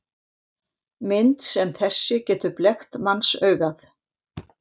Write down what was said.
Mynd sem þessi getur blekkt mannsaugað.